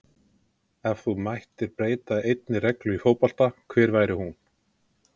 Ef þú mættir breyta einni reglu í fótbolta, hver væri hún?